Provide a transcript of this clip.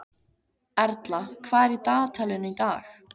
Erla, hvað er í dagatalinu í dag?